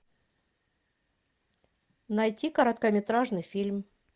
найти короткометражный фильм